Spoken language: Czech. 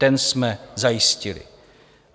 Ten jsme zajistili.